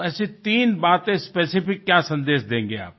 तो ऐसी तीन बातें स्पेसिफिक क्या सन्देश देंगे आप